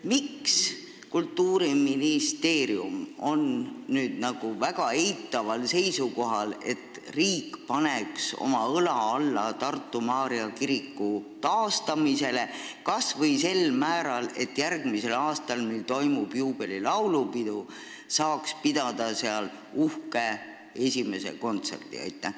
Miks on Kultuuriministeerium nüüd väga eitaval seisukohal ega taha, et riik paneks õla alla Tartu Maarja kiriku taastamisele kas või sel määral, et järgmisel aastal, kui toimub juubelilaulupidu, saaks seal pidada uhke esimese kontserdi?